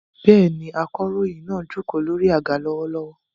Bẹ́ẹ̀ni, akọ̀ròyìn náà jókòó lórí àga lọ́wọ́lọ́wọ́.